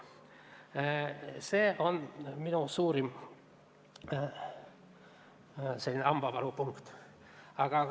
See on minu suurim hambavalupunkt.